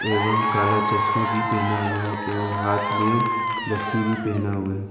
एवं काला चश्मा भी पहना हुआ है एवं हाथ में रस्सी भी पहना हुआ है।